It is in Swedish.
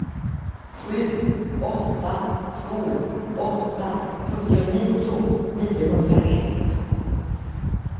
sju åtta två åtta sjuttionio niohundraett